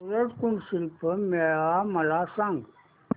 सूरज कुंड शिल्प मेळावा मला सांग